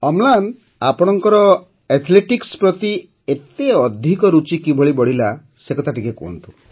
ଅମ୍ଳାନ ଆପଣଙ୍କର ଆଥ୍ଲେଟିକ୍ସ ପ୍ରତି ଏତେ ଅଧିକ ରୁଚି କିପରି ବଢ଼ିଲା ସେକଥା ଟିକିଏ କହନ୍ତୁ